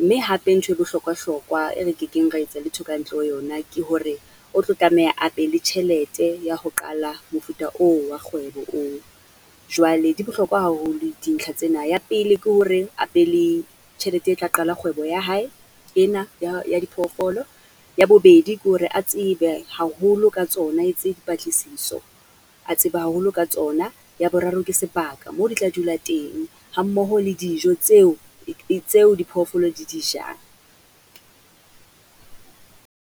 Mme hape ntho e bohlokwahlokwa, e re kekeng ra etsa letho ka ntle ho yona, ke hore o tlo tlameha a be le tjhelete ya ho qala mofuta oo wa kgwebo oo. Jwale di bohlokwa haholo dintlha tsena, ya pele ke hore a be le tjhelete e tla qala kgwebo ya hae, ena ya ya diphoofolo, ya bobedi ke hore a tsebe haholo ka tsona, a etse dipatlisiso a tseba haholo ka tsona. Ya boraro ke sebaka, moo di tla dula teng, hammoho le dijo tseo tseo diphoofolo di dijang.